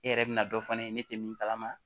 E yɛrɛ bɛna dɔ fɔ ne ye ne tɛ min kalama